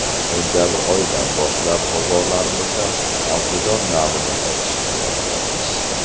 Sentabr oyidan boshlab bozorlarimizda ‘xalsedon’ navini sotishni boshlaymiz.